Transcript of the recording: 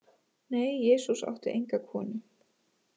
Nei, Jesús átti enga konu.